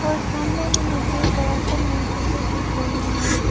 और सामने में मुझे एक बड़ा सा मूर्ति भी दिख रही है।